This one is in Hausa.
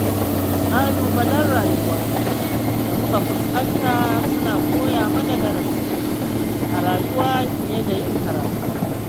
Ƙalubalen rayuwa da muka fuskanta suna koya mana darasi a rayuwa fiye da yin karatu.